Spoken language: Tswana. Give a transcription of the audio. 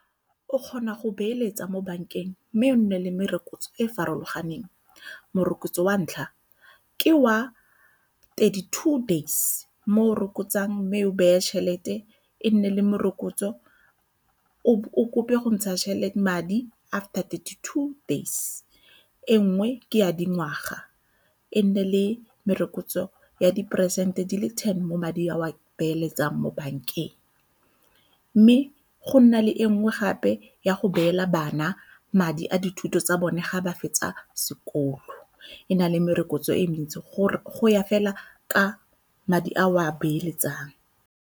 O kgona go beeletsa mo bankeng mme o nne le merokotso e e farologaneng. Morokotso wa ntlha ke wa thirty-two days mo o rokotsang mme o beye tšhelete e nne le morokotso, o kope go ntsha madi after thirty-two days. E nngwe ke ya dingwaga, e nne le merokotso ya diperesente di le ten mo madi a o beeletsang mo bankeng, mme go nna le e nngwe gape ya go beela bana madi a dithuto tsa bone ga ba fetsa sekolo e na le merokotso e mentsi gore goya fela ka madi a o a beeletsang.